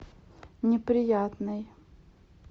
неприятный